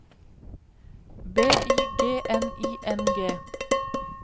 B Y G N I N G